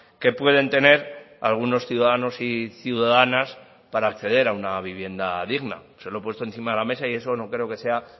que pueden tener algunos ciudadanos y ciudadanas para acceder a una vivienda digna se lo he puesto encima de la mesa y eso no creo que sea